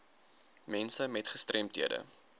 mense met gestremdhede